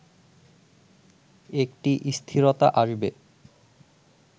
একটি স্থিরতা আসবে